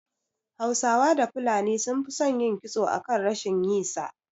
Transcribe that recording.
Hausawa da fulani sun fi son yin kitso akan rashin yi sa